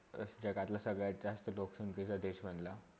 जगातला सगळ्यात जास्त लोकसंख्याचा देश म्हणला